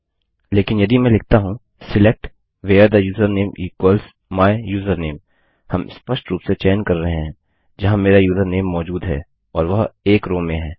लेकिन यदि मैं लिखता हूँ select where the username equals my username हम स्पष्ट रूप से चयन कर रहे हैं जहाँ मेरा यूजरनेम मौजूद है और वह 1 रो में है